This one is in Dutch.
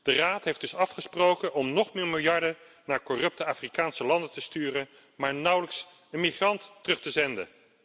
De Raad heeft dus afgesproken om nog meer miljarden naar corrupte Afrikaanse landen te sturen, maar nauwelijks een migrant terug te zenden.